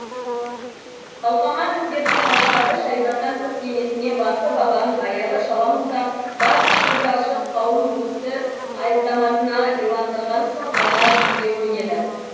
қалқаман өздерінің махаббаты шариғаттан тыс емесіне басы бабаң аяғы шала молда барлық көзі ашық қауым бұл істі айыптамасына иландырған соң ғана сөзге көнеді